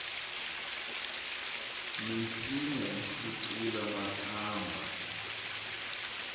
minsinya yi hlukile makamba